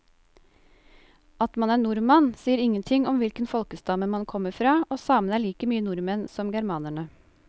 At man er nordmann sier ingenting om hvilken folkestamme man kommer fra, og samene er like mye nordmenn som germanerne.